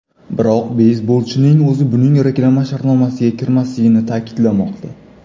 Biroq beysbolchining o‘zi buning reklama shartnomasiga kirmasligini ta’kidlamoqda.